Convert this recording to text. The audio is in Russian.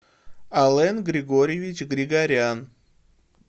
ален григорьевич григорян